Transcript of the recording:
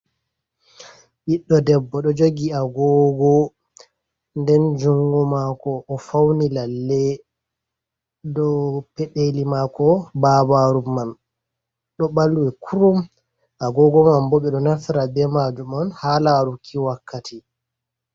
Biɗdo debbo ɗo jogi agogo, nden jungu mako o fauni lalle, do pedeli mako babaru mam ɗo balwe kurum. Agogo mam bo ɓe ɗo naftira be majum on ha laruki wakkati.